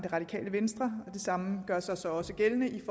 radikale venstre og det samme gør sig så også gældende i